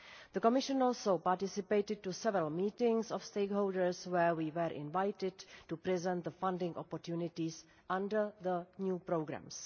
The Commission also participated in several meetings of stakeholders, where we were invited to present the funding opportunities under the new programmes.